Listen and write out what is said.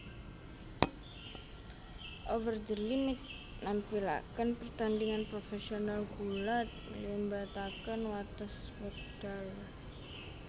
Over the Limit nampilakèn pertandingan profesional gulat nglibatakèn watès wèkdal